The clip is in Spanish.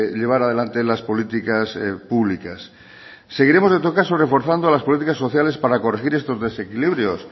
llevar adelante las políticas públicas seguiremos en todo caso reforzando las políticas sociales para corregir estos desequilibrios